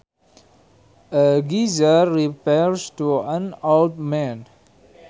A geezer refers to an old man